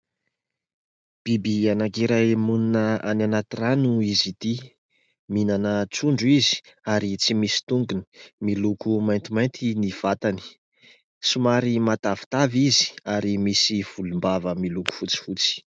Biby anankiray monina any anaty rano izy ity, mihinana trondro izy ary tsy misy tongony. Miloko maintimainty ny vatany, somary matavitavy izy ary misy volombava miloko fotsifotsy.